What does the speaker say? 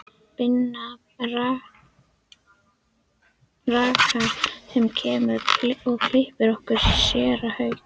Binna rakara sem kemur og klippir okkur, séra Hauk